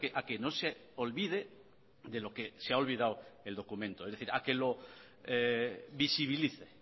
a que no se olvide de lo que se ha olvidado el documento es decir a que lo visibilice